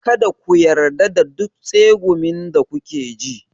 Kada ku yarda da duk tsegumin da kuke ji.